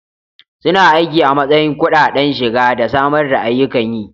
Suna aiki a matsayin kudaden shiga da samar da ayyukan yi.